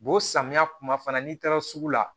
samiya kuma fana n'i taara sugu la